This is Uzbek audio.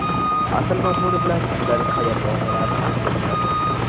asl mazmuni bilan kundalik hayot voqealarini aks ettiradi.